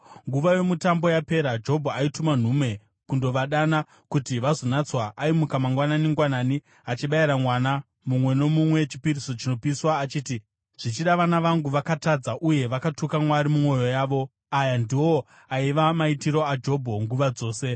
Nguva yomutambo yapera, Jobho aituma nhume kundovadana kuti vazonatswa. Aimuka mangwanani-ngwanani achibayira mwana mumwe nomumwe chipiriso chinopiswa, achiti, “Zvichida vana vangu vakatadza uye vakatuka Mwari mumwoyo yavo.” Aya ndiwo aiva maitiro aJobho nguva dzose.